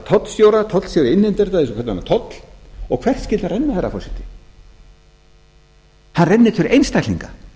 tollstjóra tollstjóri innheimtir þetta eins og hvern annan toll og hvert skyldi hann renna herra forseti hann rennur til einstaklinga